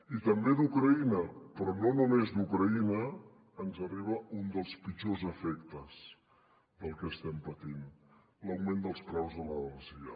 i també d’ucraïna però no només d’ucraïna ens arriba un dels pitjors efectes del que estem patint l’augment dels preus de l’energia